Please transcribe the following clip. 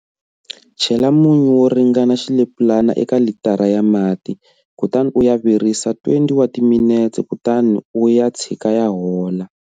Chela munyu wo ringana xilepulana eka litara ya mati, kutani u ya virisa 20 wa timinete kutani u ya tshika ya hola.